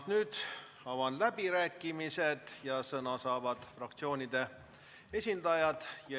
Nüüd avan läbirääkimised ja sõna saavad fraktsioonide esindajad.